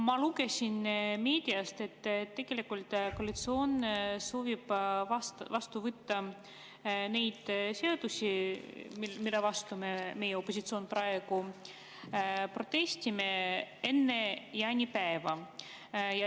Ma lugesin meediast, et tegelikult soovib koalitsioon vastu võtta need seadused, mille vastu meie, opositsioon, praegu protestime, enne jaanipäeva.